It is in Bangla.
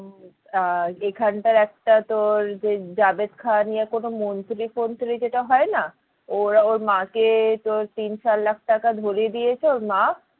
আহ এখানটার একটা তোর জাভেদ খান নিয়ে কোনো মন্ত্রী ফন্ত্রী যেটা হয় না ওরা ওর মা কে তোর তিন চার লাখ টাকা ধরিয়ে দিয়েছে ওর মা